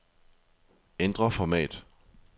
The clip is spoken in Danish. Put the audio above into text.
Ændr format.